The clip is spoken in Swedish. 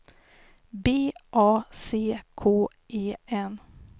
B A C K E N